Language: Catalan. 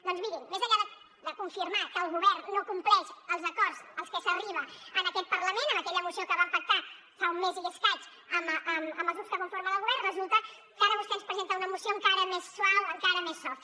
doncs mirin més enllà de confirmar que el govern no compleix els acords als quals s’arriba en aquest parlament amb aquella moció que vam pactar fa un mes i escaig amb els grups que conformen el govern resulta que ara vostè ens presenta una moció encara més suau encara més soft